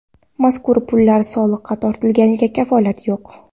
Mazkur pullar soliqqa tortilganiga kafolat yo‘q.